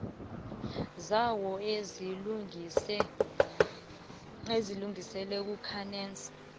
zawo azilungise kwanac